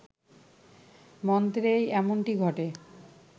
মন্ত্রেই এমনটি ঘটে